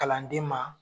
Kalanden ma